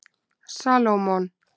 Salómon